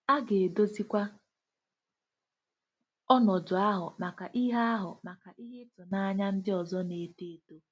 A ga-edozikwa ọnọdụ ahụ maka ihe ahụ maka ihe ịtụnanya ndị ọzọ na-eto eto.